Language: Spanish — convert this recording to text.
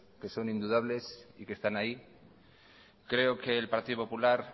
que son indudables y que están ahí creo que el partido popular